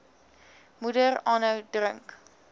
moeder aanhou drink